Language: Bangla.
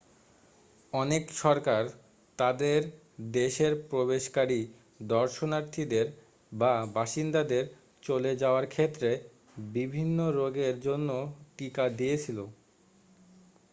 অনেক সরকার তাদের দেশের প্রবেশকারী দর্শনার্থীদের বা বাসিন্দাদের চলে যাওয়ার ক্ষেত্রে বিভিন্ন রোগের জন্য টিকা দিয়েছিল